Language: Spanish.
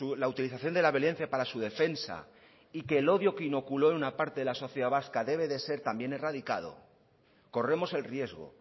la utilización de la violencia para su defensa y que el odio que inoculó en una parte de la sociedad vasca debe de ser también erradicado corremos el riesgo